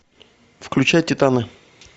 включай титаны